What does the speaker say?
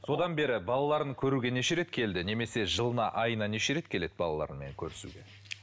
содан бері балаларын көруге неше рет келді немесе жылына айына неше рет келеді балаларымен көрісуге